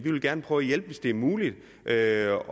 prøve at hjælpe hvis det er muligt at